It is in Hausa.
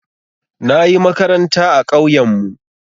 Na yi makaranta a ƙauyenmu.